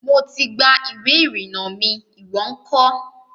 Mo ti gba ìwé ìrìnnà mi. ìwó ńkọ́?